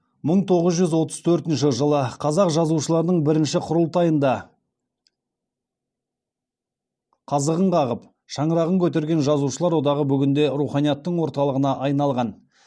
мың тоғыз жүз отыз төртінші жылы қазақ жазушыларының бірінші құрылтайында қазығын қағып шаңырағын көтерген жазушылар одағы бүгінде руханияттың орталығына айналған